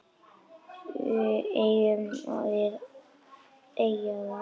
Megum við eiga það?